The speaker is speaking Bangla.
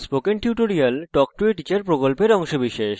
spoken tutorial talk to a teacher প্রকল্পের অংশবিশেষ